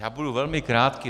Já budu velmi krátký.